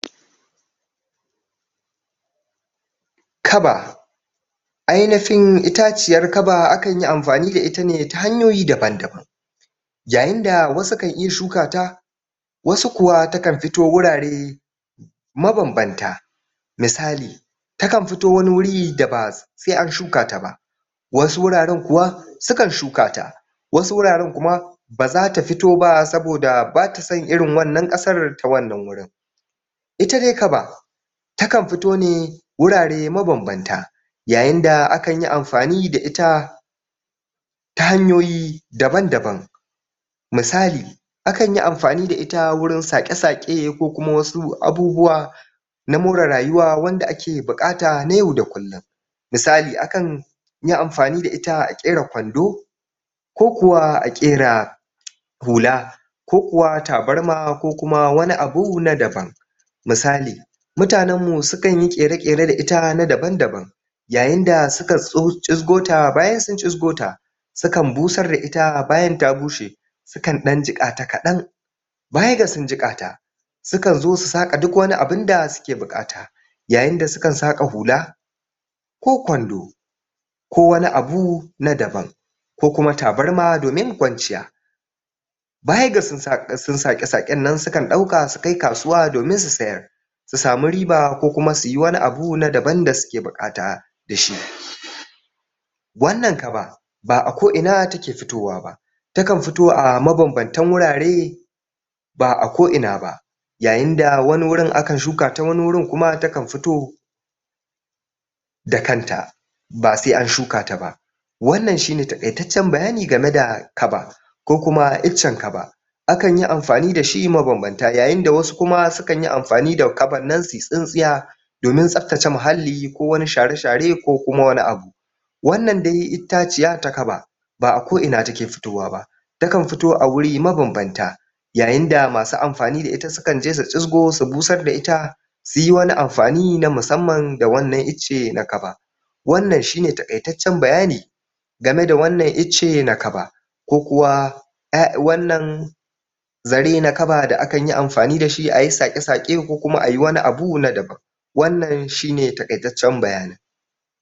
Kaba Ainifin itaciyar kaba akan yi amfani da ita ne ta hanyoyi daban-daban. Yayi da wasu kan iya shuka ta wasu kuwa takan fito wurare mabam-banta. Misali; Takan fito wani wuri da ba sai an shuka ta ba. Wasu wuraren kuwa sukan shuka ta. Wasu wuraren kuma ba za ta fito ba saboda ba ta son irin wannan ƙasar ta wannan wurin. Ita dai kaba takan fito ne wurare mabam-banta, yayin da akan yi amfani da ita ta hanyoyi daban-daban. Misali; akan yi amfani da ita wurin saƙe-saƙe ko kuma wasu abubuwa na more rayuwa wanda ake buƙata na yau da kullum. Misali; akan yi amfani da ita a ƙera kwando, ko kuwa a ƙera hula, ko kuwa tabarma ko kuma wani abu na daban. Misali; Mutanen mu sukan yi ƙere-ƙere da ita na daban-daban. Yayin suka tso cisgota, bayan sun cisgota, sukan busar da ita bayan ta bushe, sukan ɗan jiƙa ta kaɗan, baya ga sun jiƙata, sukan zo su saƙa duk wani abun da suke buƙata. Yayin da suka saƙa hula, ko kwando, ko wani abu na daban, ko kuma tabarma domin kwanciya. baya ga sun saƙa sun saƙe-saƙen nan sukan ɗauka sukai kasuwa domin su sayar, su samu riba ko kuma suyi wani na daban da suke buƙata da shi. Wannan kaba ba'a ko'ina take fitowa ba. Takan fito a mabam-bantan wurare ba'a ko'ina ba. Yayin da wani wurin akan shuka ta wani wurin kuma takan fito da kanta ba sai an shuka ta ba. Wannan shine taƙaitaccen bayani game da kaba, ko kuma iccen kaba. Akan yi amfani da shi mabam-banta yayin da wasu kuma sukan yi amfani da kaban nan suyi tsintsinya domin tsaftace muhalli ko wani share-share ko kuma wani abu Wannan dai itaciya ta kaba ba'a ko'ina take fitowa ba. Takan fito a wuri mabam-banta yayin da masu amfani da ita sukan je su cisgo su busar da ita, suyi wani amfani na musamman da wannan icce na kaba. Wannan shi ne taƙaitaccen bayani game da wannan icce na kaba ko kuwa ƴa wannan zare na kaba da akan yi amfani da shi ayi saƙe-saƙe ko kuma ayi wani abu na daban. Wannan shi ne taƙaitaccen bayanin.